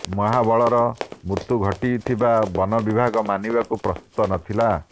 ମହାବଳର ମୃତ୍ୟୁ ଘଟିଥିବା ବନ ବିଭାଗ ମାନିବାକୁ ପ୍ରସ୍ତୁତ ନଥିଲା